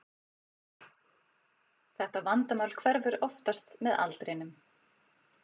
Þetta vandamál hverfur oftast með aldrinum.